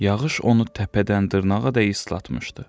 Yağış onu təpədən dırnağadək islatmışdı.